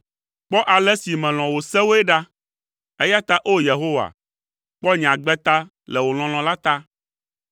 Kpɔ ale si melɔ̃ wò sewoe ɖa; eya ta o Yehowa, kpɔ nye agbe ta le wò lɔlɔ̃ la ta.